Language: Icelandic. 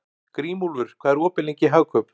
Grímúlfur, hvað er opið lengi í Hagkaup?